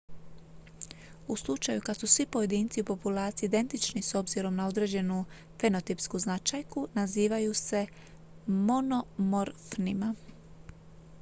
u slučaju kad su svi pojedinci u populaciji identični s obzirom na određenu fenotipsku značajku nazivaju se monomorfnima